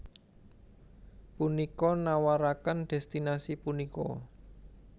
Punika nawaraken destinasi punika